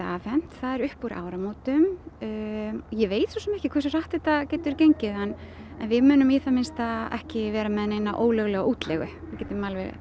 afhent það er upp úr áramótum ég veit svo sem ekkert hversu hratt þetta getur gengið en við munum í það minnsta ekki vera með ólöglega útleigu ég get